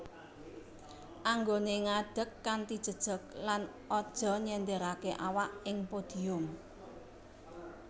Anggoné ngadeg kanthi jejeg lan aja nyenderaké awak ing podium